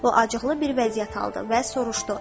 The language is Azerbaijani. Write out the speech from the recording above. O acıqlı bir vəziyyət aldı və soruşdu: